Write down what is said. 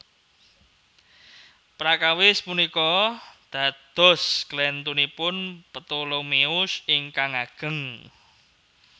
Prakawis punika dados klèntunipun Ptolemeus ingkang ageng